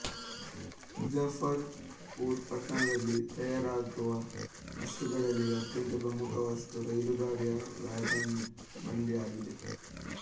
ಮುಜಫರ್ ಪುರ್ ಪಟ್ಟಣದಲ್ಲಿ ತಯಾರಾಗುವ ವಸ್ತುಗಳಲ್ಲಿ ಅತ್ಯಂತ ಪ್ರಮುಖ ವಸ್ತು ರೈಲುಗಾಡಿಯ ವ್ಯಾಗನ್ ಬಂಡಿ ಆಗಿದೆ